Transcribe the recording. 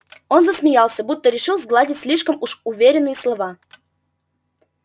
он засмеялся будто решил сгладить слишком уж уверенные слова